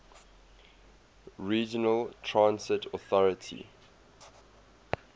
regional transit authority